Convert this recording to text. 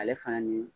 Ale fana ni